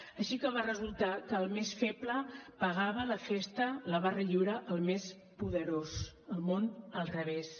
així que va resultar que el més feble pagava la festa la barra lliure al més poderós el món al revés